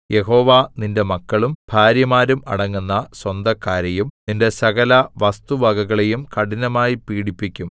യഹോവ നിന്റെ മക്കളും ഭാര്യമാരും അടങ്ങുന്ന സ്വന്തക്കാരെയും നിന്റെ സകലവസ്തുവകകളെയും കഠിനമായി പീഡിപ്പിക്കും